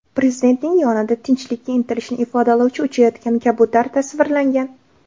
Prezidentning yonida tinchlikka intilishni ifodalovchi uchayotgan kabutar tasvirlangan.